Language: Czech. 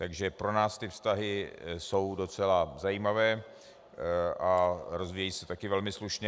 Takže pro nás ty vztahy jsou docela zajímavé a rozvíjejí se také velmi slušně.